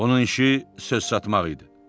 Onun işi söz satmaq idi.